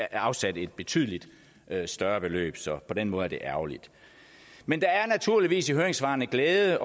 afsat et betydelig større beløb så på den måde er det ærgerligt men der er naturligvis i høringssvarene glæde